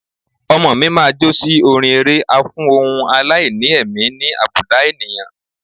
Ọmọọ̀ mi máa jó sí orin eré a fún ohun aláìní ẹ̀mí ní àbùdá ènìyàn.